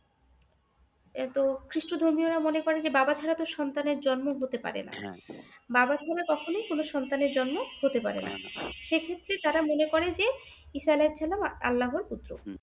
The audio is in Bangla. এতো খ্রিষ্ট ধর্মীয়রা মনে করে যে বাবা ছাড়াত সন্তানের জন্ম হতে পারে নাহ বাবা ছাড়া কখনই কোন সন্তানের জন্ম হতে পারে নাহ সে ক্ষেত্রে তারা মনে করে যে ঈসা আলাহিসাল্লাম আল্লাহর পুত্র